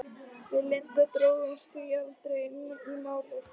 Við Linda drógumst því aldrei inn í Málið.